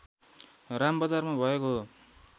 रामबजारमा भएको हो